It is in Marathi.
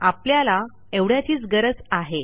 आपल्याला एवढ्याचीच गरज आहे